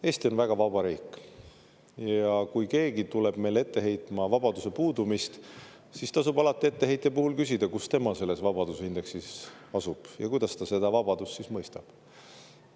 Eesti on väga vaba riik ja kui keegi tuleb meile ette heitma vabaduse puudumist, siis tasub alati etteheitja kohta küsida, kus tema selles vabaduse indeksis asub ja kuidas ta seda vabadust siis mõistab.